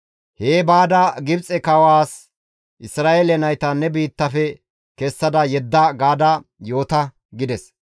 «Hee baada Gibxe kawaas, ‹Isra7eele nayta ne biittafe kessa yedda› gaada yoota» gides.